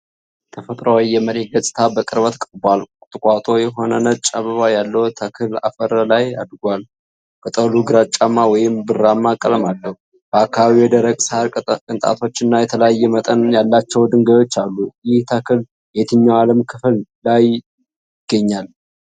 ተፈጥሯዊ የመሬት ገጽታ በቅርበት ቀርቧል። ቁጥቋጦ የሆነ ነጭ አበባ ያለው ተክል አፈር ላይ አድጎዋል። ቅጠሉ ግራጫማ ወይም ብርማ ቀለም አለው። በአካባቢው የደረቅ ሳር ቅንጣቶችና የተለያየ መጠን ያላቸው ድንጋዮች አሉ። ይህ ተክል የትኛው የዓለም ክፍል ነው የሚገኘው?